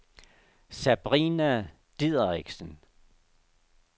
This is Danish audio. Sabrina Dideriksen